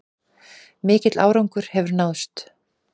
Mikill árangur hefur náðst